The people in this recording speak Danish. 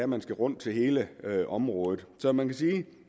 man skal rundt til hele området så man kan sige at